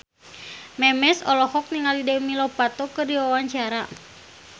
Memes olohok ningali Demi Lovato keur diwawancara